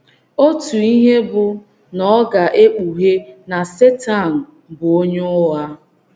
Otu ihe bụ́ na ọ ga - e kpughee na Setan bụ onye ụgha!